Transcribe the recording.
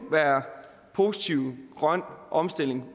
grønne omstilling